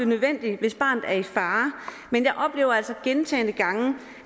nødvendigt hvis barnet er i fare men jeg oplever altså gentagne gange